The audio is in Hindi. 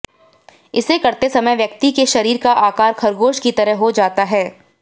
इसे करते समय व्यक्ति के शरीर का आकार खरगोश की तरह हो जाता है